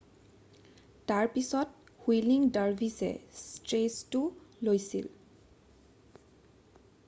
তাৰপাছত whirling dervishes ষ্টেজটো লৈছিল৷